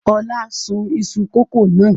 Ọlá sun iṣu kòkó náà?